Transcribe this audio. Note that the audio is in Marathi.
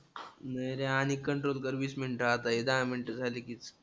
नाही रे आणि control कर वीस मिनिटं आता हे दहा मिनिटं झाली कीच.